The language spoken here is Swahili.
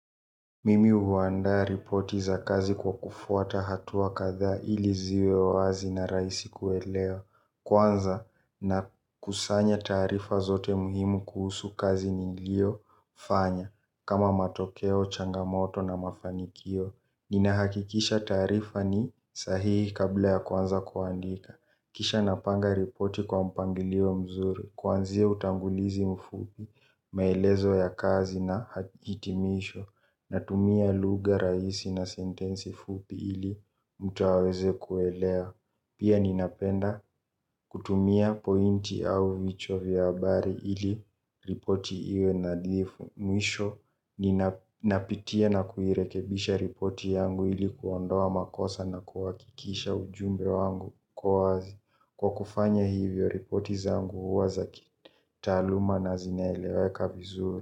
Mimi huandaa ripoti za kazi kwa kufuata hatua kadha ili ziwe wazi na rahisi kuelewa. Kwanza nakusanya taarifa zote muhimu kuhusu kazi niliofanya. Kama matokeo, changamoto na mafanikio. Ninahakikisha taarifa ni sahihi kabla ya kuanza kuandika. Kisha napanga ripoti kwa mpangilio mzuri. Kuanzia utangulizi mfupi, maelezo ya kazi na hitimisho. Natumia lugha rahisi na sentensi fupi ili mtu aweze kuelewa. Pia ninapenda kutumia pointi au vichwa vya habari ili ripoti iwe nadhifu. Mwisho ninapitia na kuirekebisha ripoti yangu ili kuondoa makosa na kuhakikisha ujumbe wangu kuwa wazi. Kwa kufanya hivyo ripoti zangu huwa za kitaaluma na zinaeleweka vizuri.